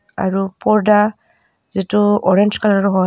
আৰু পৰ্দা যিটো অৰেঞ্জ কালাৰ ৰ হয়.